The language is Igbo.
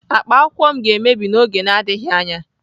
Akpa akwụkwọ m ga-emebi n'oge na-adịghị anya.